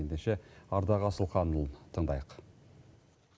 ендеше ардақ асылханұлын тыңдайық